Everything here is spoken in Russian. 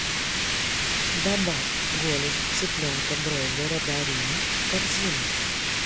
добавь голень цыпленка бройлера дарина в корзину